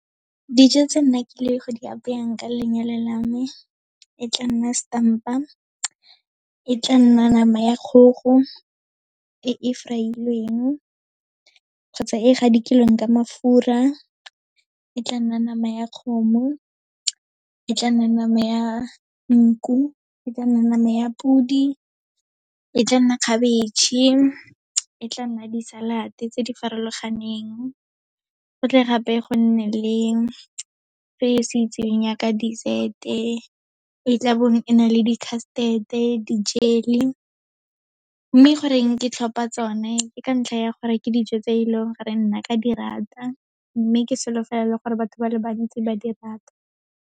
Dijo tse nna ke ileng go di apayang ke lenyalo la me, e tla nna setampa, e tla nna nama ya kgogo, e e fry-ilweng kgotsa e gadikilweng ka mafura, e tla nna nama ya kgomo, e tla nna nama ya nku, e tla nna nama ya podi, e tla nna khabetšhe, e tla nna di-salad-e tse di farologaneng. Go tle gape go nne le se se itseweng yaaka dessert-e, e tlabong e na le di-custard-e, di-jelly. Mme goreng ke tlhopa tsone ke ka ntlha ya gore, ke dijo tse e leng gore nna ka di rata, mme ke solofela le gore batho ba le bantsi ba di rata.